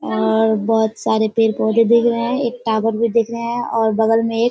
और बहोत सारे पेड़-पौधे भी दिख रहे है एक टावर भी दिख रहे है और बगल मे एक --